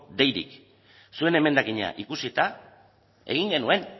deirik zuek emendakina ikusita egin genuen